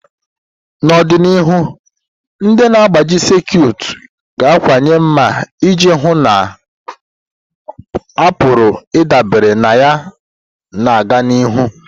N'ọdịnihu, ndị na-agbaji sekit ga-akawanye mma iji hụ na a pụrụ ịdabere na ya na-aga n'ihu.